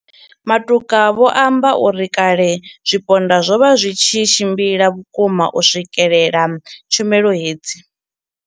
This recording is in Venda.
Matuka vho amba uri kale zwipondwa zwo vha zwi tshi tshimbila vhukuma u swikelela tshumelo hedzi.